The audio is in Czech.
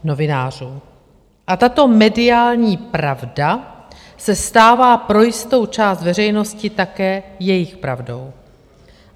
A tato mediální pravda se stává pro jistou část veřejnosti také jejich pravdou.